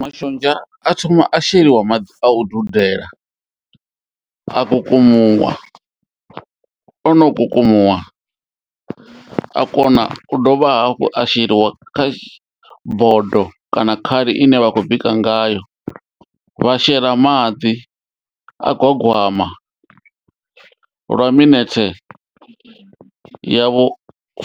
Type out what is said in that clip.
Mashonzha a thoma a sheliwa maḓi a u dudela a kukumuwa ono kukumuwa a kona u dovha hafhu a sheliwa kha bodo kana khali ine vha khou bika ngayo, vha shela maḓi a gwagwama lwa minethe ya vhu